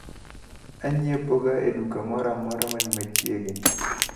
Anyiepoga e duka moramora mani machiegni.